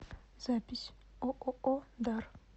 запись ооо дар